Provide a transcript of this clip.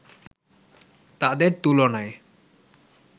তাদের তুলনায়